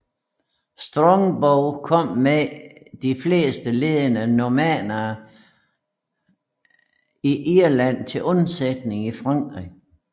Strongbow kom med de fleste ledende normannere i Irland til undsætning i Frankrig